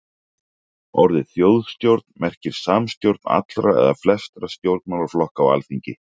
Orðið þjóðstjórn merkir samstjórn allra eða flestra stjórnmálaflokka á alþingi.